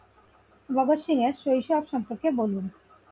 ভগৎ সিং এর শৈশব সম্পর্কে বলুন?